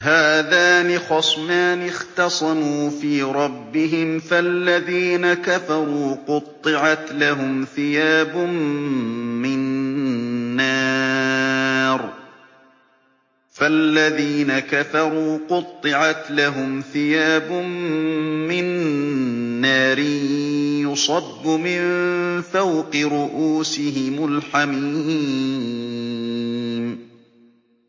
۞ هَٰذَانِ خَصْمَانِ اخْتَصَمُوا فِي رَبِّهِمْ ۖ فَالَّذِينَ كَفَرُوا قُطِّعَتْ لَهُمْ ثِيَابٌ مِّن نَّارٍ يُصَبُّ مِن فَوْقِ رُءُوسِهِمُ الْحَمِيمُ